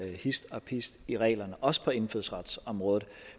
hist og pist i reglerne også på indfødsretsområdet